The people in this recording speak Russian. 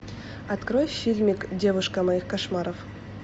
открой фильмик девушка моих кошмаров